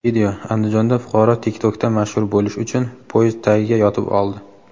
Video: Andijonda fuqaro TikTok’da mashhur bo‘lish uchun poyezd tagiga yotib oldi.